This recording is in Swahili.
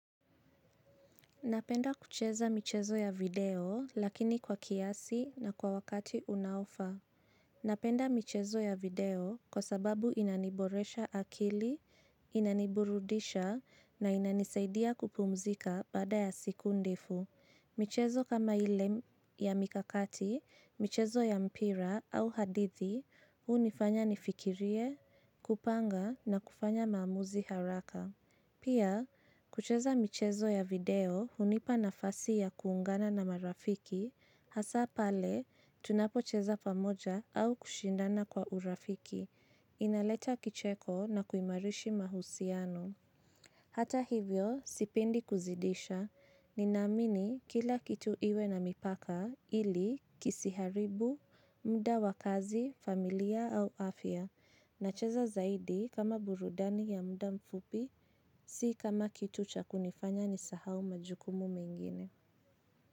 Napenda kucheza michezo ya video lakini kwa kiasi na kwa wakati unaofaa. Napenda michezo ya video kwa sababu inaniboresha akili, inaniburudisha na inanisaidia kupumzika baada ya siku ndefu. Michezo kama ile ya mikakati, michezo ya mpira au hadithi, hunifanya nifikirie, kupanga na kufanya maamuzi haraka. Pia, kucheza michezo ya video hunipa nafasi ya kuungana na marafiki, hasa pale tunapocheza pamoja au kushindana kwa urafiki, inaleta kicheko na kuimarisha mahusiano. Hata hivyo, sipendi kuzidisha, ninaamini kila kitu iwe na mipaka ili kisiharibu, muda wakazi, familia au afya, nacheza zaidi kama burudani ya muda mfupi, si kama kitu cha kunifanya nisahau majukumu mengine.